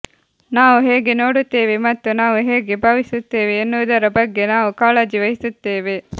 ನಾವು ಹೇಗೆ ನೋಡುತ್ತೇವೆ ಮತ್ತು ನಾವು ಹೇಗೆ ಭಾವಿಸುತ್ತೇವೆ ಎನ್ನುವುದರ ಬಗ್ಗೆ ನಾವು ಕಾಳಜಿ ವಹಿಸುತ್ತೇವೆ